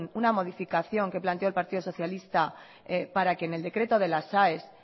una modificación que planteó el partido socialistas para que en el decreto de las aes